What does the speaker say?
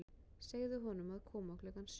Segðu honum að koma klukkan sjö.